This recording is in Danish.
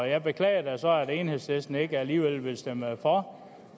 jeg beklager så at enhedslisten alligevel ikke vil stemme for